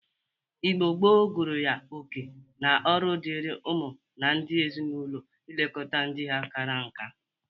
Igbo gboo gụrụ ya oke na ọrụ dịri ụmụ na ndị ezi-na-ụlọ ilekọta ndị ha kara nka.